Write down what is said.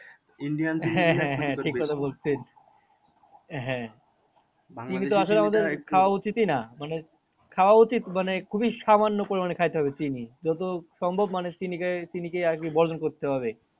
বলছেন হ্যাঁ হ্যাঁ উচিতই না মানে খাওয়া উচিত মানে খুবই সামান্য পরিমানে খাইতে হবে চিনি যত সম্ভব মানুষ চিনিকে, চিনিকে আরকি বর্জন করতে হবে।